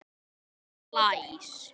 Og blæs.